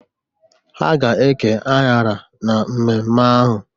Ha ga-eke anyara na mmemme ahụ.